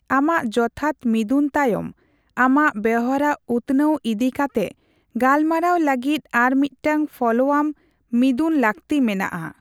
ᱟᱢᱟᱜ ᱡᱚᱛᱷᱟᱛ ᱢᱤᱫᱩᱱ ᱛᱟᱭᱚᱢ, ᱟᱢᱟᱜ ᱵᱮᱣᱦᱟᱨ ᱩᱛᱱᱟᱹᱣ ᱤᱫᱤ ᱠᱟᱛᱮᱜ ᱜᱟᱞᱢᱟᱨᱟᱣ ᱞᱟᱹᱜᱤᱫ ᱟᱨᱢᱤᱫ ᱴᱟᱝ ᱯᱷᱚᱞᱳ ᱟᱢ ᱢᱤᱫᱩᱱ ᱞᱟᱹᱠᱛᱤ ᱢᱮᱱᱟᱜᱼᱟ ᱾